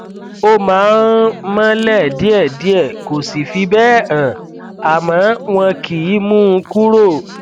ó máa ń mọlẹ díẹdíẹ kò sì fi bẹẹ hàn àmọ wọn kìí mú un kúrò